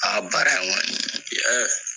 Aa baara in kɔni, i yeee.